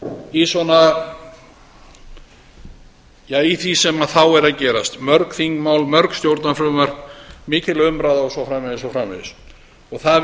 í svona ja í því sem þá er að gerast mörg þingmál mörg stjórnarfrumvörp mikil umræða og svo framvegis og svo framvegis það